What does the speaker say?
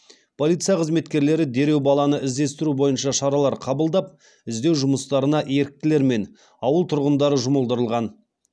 полиция қызметкерлері дереу баланы іздестіру бойынша шаралар қабылдап іздеу жұмыстарына еріктілер мен ауыл тұрғындары жұмылдырылған